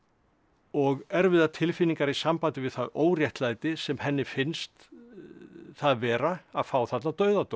og erfiðar tilfinningar í sambandi við það óréttlæti sem henni finnst það vera að fá þarna dauðadóm